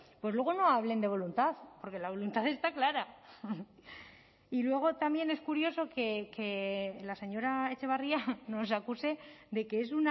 pues luego no hablen de voluntad porque la voluntad está clara y luego también es curioso que la señora etxebarria nos acuse de que es